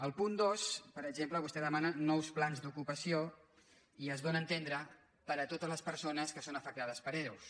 al punt dos per exemple vostè demana nous plans d’ocupació i es dóna a entendre per a totes les per·sones que són afectades per ero